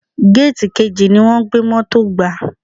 Géètì kejì ni wọ́n gbé Mọ́tò gbà.